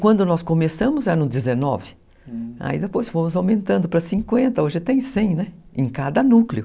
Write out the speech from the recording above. Quando nós começamos era no dezenove, aí depois fomos aumentando para cinquenta, hoje tem cem, né, em cada núcleo.